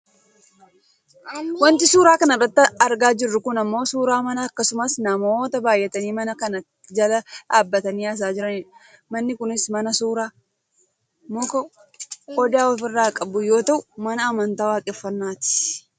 Wanti suuraa kanarratti argaa jiru kun ammoo suuraa mana akkasumas namoota baayyatanii mana kana jala dhaabbatanii haasa'aa jiranidha . Manni kunis mana suuraa. Muka odaa ofirraa qabu yoo ta'u mana amantaa waaqeffannaati.